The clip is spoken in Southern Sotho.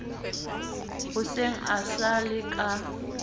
hoseng e sa le ka